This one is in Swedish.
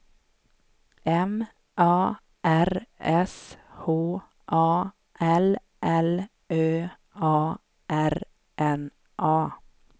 M A R S H A L L Ö A R N A